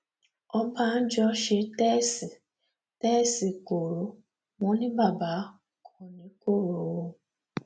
ọbànjọ ṣe tèèṣì tèèṣì koro wọn ní baba kò ní koro o